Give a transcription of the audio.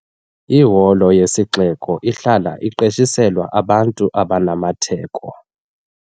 Iholo yesixeko ihlala iqeshiselwa abantu abanamatheko.